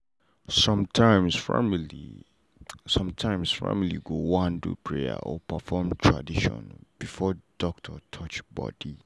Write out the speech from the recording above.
sometimes family sometimes family go wan do prayer or perform tradition before doctor touch body.